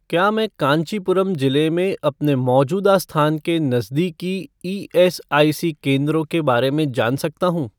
क्या मैं कांचीपुरम जिले में अपने मौजूदा स्थान के नज़दीकी ईएसआईसी केंद्रों के बारे में जान सकता हूँ?